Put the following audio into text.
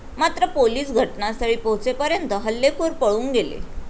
मात्र पोलिस घटनास्थळी पोहचेपर्यंत हल्लेखोर पळून गेले.